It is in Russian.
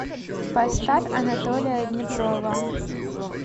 поставь анатолия днепрова